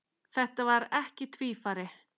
Þetta var ekki tvífari